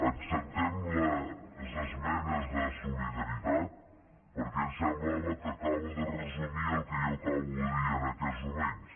acceptem les esmenes de solidaritat perquè ens semblava que acaben de resumir el que jo acabo de dir en aquests moments